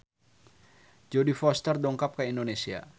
Jodie Foster dongkap ka Indonesia